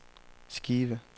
skive